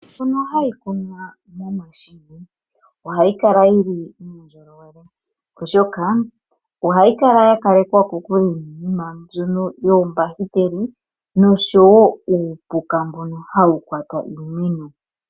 Iimeo mbyono hayi kunwa momashina ohayi kala yili muundjolowele ,oshoka ohayi kala ya kalekwa kokule niinima mbyono yoombahiteli noshowo uupuka mbono hawu kwata iimeno.